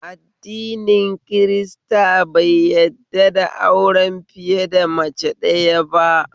Addini kirista bai yadda da auren fiye da mace ɗaya ba